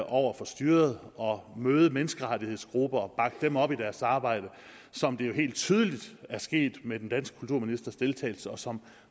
over for styret møde menneskerettighedsgrupper og bakke dem op i deres arbejde som det jo helt tydeligt er sket med den danske kulturministers deltagelse og som